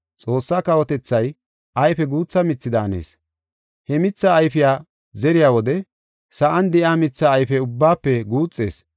Xoossaa kawotethay ayfe guutha mithi daanees. He mithaa ayfiya zeriya wode sa7an de7iya mitha ayfe ubbaafe guuxees.